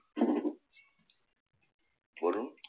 বলুন